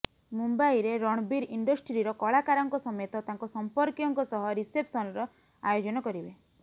ମୁମ୍ବାଇରେ ରଣବୀର ଇଣ୍ଡଷ୍ଟ୍ରିର କଳାକାରଙ୍କ ସମେତ ତାଙ୍କ ସମ୍ପର୍କୀୟଙ୍କ ସହ ରିସେପ୍ସସନର ଆୟୋଜନ କରିବେ